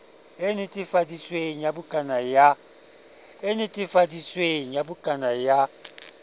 e netefaditsweng ya bukana ya